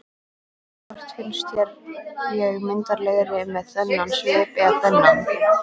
Hvort finnst þér ég myndarlegri með þennan svip eða þennan?